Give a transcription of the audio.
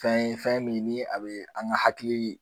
Fɛn ye fɛn min ni a bɛ an ka hakili